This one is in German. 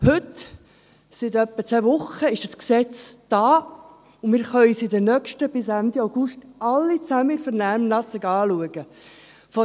Heute – seit etwa zwei Wochen – ist ein Gesetz da, und wir alle können es bis Ende August in der Vernehmlassung anschauen.